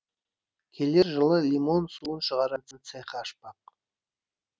келер жылы лимон суын шығаратын цех ашпақ